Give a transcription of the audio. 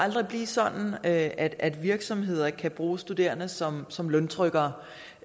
blive sådan at at virksomheder kan bruge studerende som som løntrykkere